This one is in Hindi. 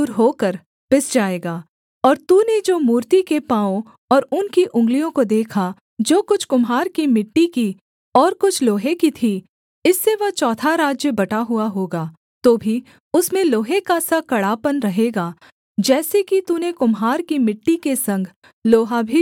और तूने जो मूर्ति के पाँवों और उनकी उँगलियों को देखा जो कुछ कुम्हार की मिट्टी की और कुछ लोहे की थीं इससे वह चौथा राज्य बटा हुआ होगा तो भी उसमें लोहे का सा कड़ापन रहेगा जैसे कि तूने कुम्हार की मिट्टी के संग लोहा भी मिला हुआ देखा था